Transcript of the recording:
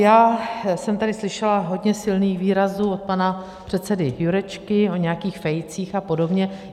Já jsem tady slyšela hodně silných výrazů od pana předsedy Jurečky o nějakých fejcích a podobně.